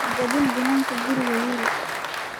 Ha jabin biinanka guriga wiil.